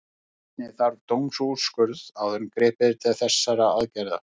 Einnig þarf dómsúrskurð áður en gripið er til þessara aðgerða.